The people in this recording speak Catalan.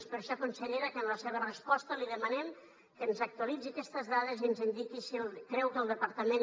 és per això consellera que en la seva resposta li demanem que ens actualitzi aquestes dades i ens indiqui si creu que el departament